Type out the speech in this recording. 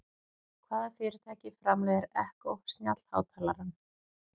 Hvaða fyrirtæki framleiðir Echo snjallhátalarann?